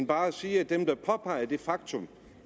bare at sige at dem der påpeger det faktum